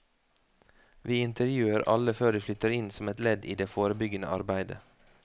Vi intervjuer alle før de flytter inn som et ledd i det forebyggende arbeidet.